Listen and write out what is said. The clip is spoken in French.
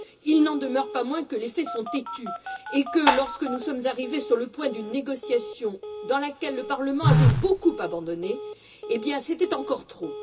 Il n'en demeure pas moins que les faits sont têtus et que, lorsque nous sommes arrivés sur le point d'une négociation dans laquelle le Parlement avait beaucoup abandonné, eh bien c'était encore trop.